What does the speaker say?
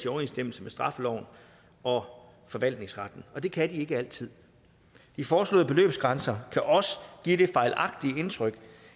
overensstemmelse med straffeloven og forvaltningsretten og det kan de ikke altid de foreslåede beløbsgrænser kan også give det fejlagtige indtryk